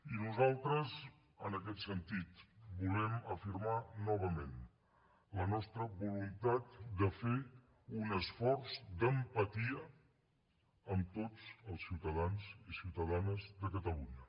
i nosaltres en aquest sentit volem afirmar novament la nostra voluntat de fer un esforç d’empatia amb tots els ciutadans i ciutadanes de catalunya